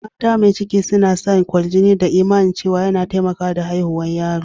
Mata mai ciki suna sa kwarjini da imani cewa ya na taimaka da haihuwan yaro.